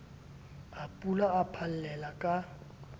a pula a phallella ka